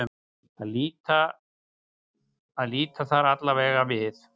Að líta þar allavega við.